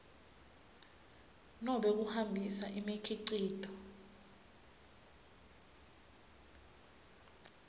nobe kuhambisa imikhicito